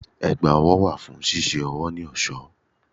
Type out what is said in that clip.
Ẹ̀gbá ọwọ́ wà fún ṣíṣe ọwọ́ ní ẹ̀ṣọ́.